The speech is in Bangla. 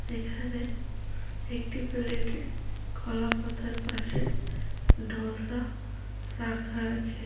এখানে একটি প্লেট -এ কলা পাতার পাশে ধোসা রাখা আছে।